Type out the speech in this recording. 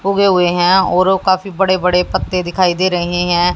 उगे हुए हैं और काफी बड़े बड़े पत्ते दिखाई दे रहे हैं।